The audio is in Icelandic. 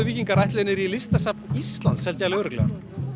víkingar ætluðu niður í Listasafn Íslands held ég alveg örugglega